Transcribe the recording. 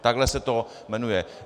Takhle se to jmenuje.